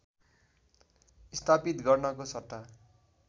स्थापित गर्नको सट्टा